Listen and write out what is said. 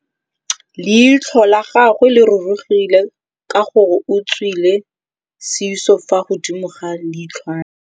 Leitlhô la gagwe le rurugile ka gore o tswile sisô fa godimo ga leitlhwana.